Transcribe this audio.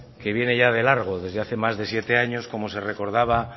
que viene ya de largo desde hace más de siete años como se recordaba